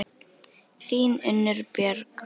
Þín, Unnur Björg.